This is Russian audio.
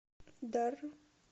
дар